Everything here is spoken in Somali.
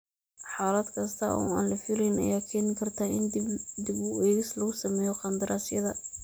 Xaalad kasta oo aan la filayn ayaa keeni karta in dib u eegis lagu sameeyo qandaraasyada.